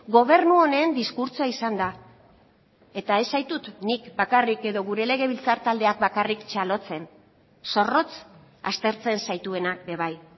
gobernu honen diskurtsoa izan da eta ez zaitut nik bakarrik edo gure legebiltzar taldeak bakarrik txalotzen zorrotz aztertzen zaituenak ere bai